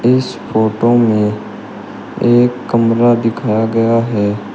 इस फोटो में एक कमरा दिखाया गया है।